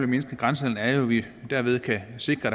mindske grænsehandelen er jo at vi derved kan sikre